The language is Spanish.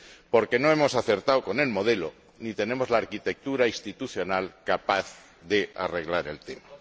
Porque no hemos acertado con el modelo, ni tenemos la arquitectura institucional capaz de arreglar el tema.